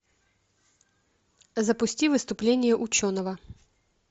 запусти выступление ученого